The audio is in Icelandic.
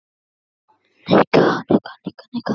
Þetta er stórt gamalt og skemmtilegt bændabýli.